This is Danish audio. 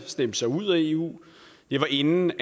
stemt sig ud af eu det var inden